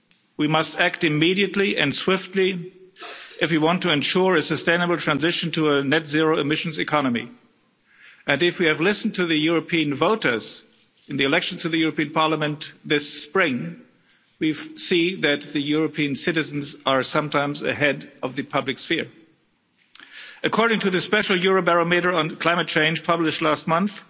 We must act immediately and swiftly if we want to ensure a sustainable transition to a net-zero emissions economy, and if we have listened to the European voters in the election to the European Parliament this spring, we have seen that European citizens are sometimes ahead of the public sphere. According to the special Eurobarometer on climate change published last month,